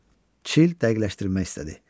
Çil dəqiqləşdirmək istədi.